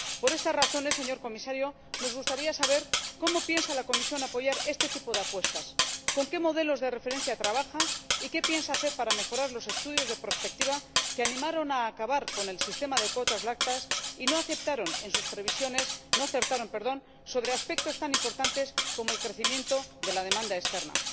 Por estas razones, señor Comisario, nos gustaría saber cómo piensa la Comisión apoyar este tipo de apuestas, con qué modelos de referencia trabaja y qué piensa hacer para mejorar los estudios de prospectiva que animaron a acabar con el sistema de cuotas lácteas y no acertaron en sus previsiones sobre aspectos tan importantes como el crecimiento de la demanda externa.